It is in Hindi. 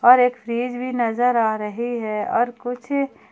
और एक फ्रीज़ भी नजर आ रही है और कुछ--